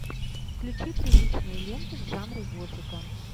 включи приличную ленту в жанре готика